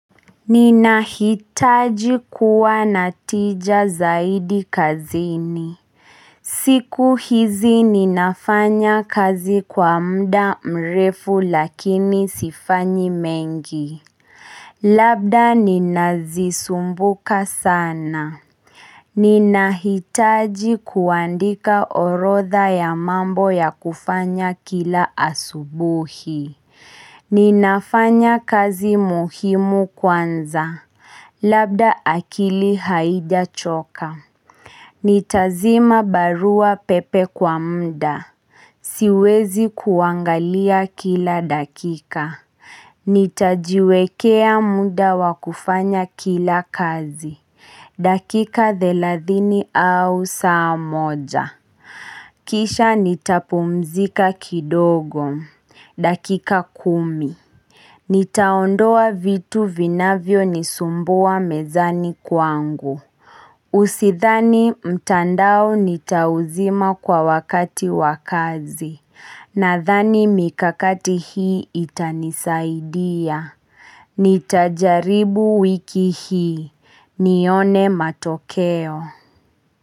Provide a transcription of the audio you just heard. Ninahitaji kuwa natija zaidi kazini siku hizi ninafanya kazi kwa muda mrefu lakini sifanyi mengi Labda ninazisumbuka sana Ninahitaji kuandika orotha ya mambo ya kufanya kila asubuhi Ninafanya kazi muhimu kwanza Labda akili haijachoka Nitazima barua pepe kwa muda Siwezi kuangalia kila dakika Nitajiwekea muda wakufanya kila kazi dakika thelathini au saa moja Kisha nitapumzika kidogo dakika kumi Nitaondoa vitu vinavyo nisumbua mezani kwangu Usidhani mtandao nitauzima kwa wakati wa kazi Nadhani mikakati hii itanisaidia Nitajaribu wiki hii nione matokeo.